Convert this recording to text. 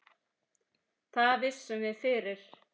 Það vissum við fyrir.